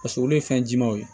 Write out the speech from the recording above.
Paseke olu ye fɛn jɛmanw ye